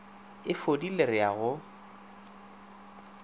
e fodile re a go